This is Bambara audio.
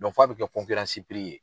fɔ a bɛ kɛ ye.